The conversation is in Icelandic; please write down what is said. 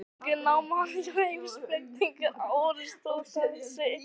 Sem unglingur nam hann hjá heimspekingnum Aristótelesi.